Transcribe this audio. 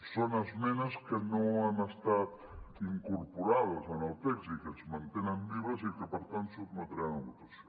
són esmenes que no han estat incorporades en el text i que es mantenen vives i que per tant sotmetrem a votació